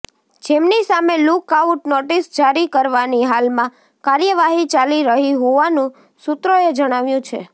જેમની સામે look out notice જારી કરવાની હાલમાં કાર્યવાહી ચાલી રહી હોવાનું સૂત્રોએ જણાવ્યું છે